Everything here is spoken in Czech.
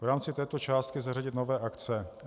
V rámci této částky zařadit nové akce.